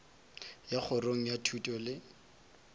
ya kgorong ya thuto le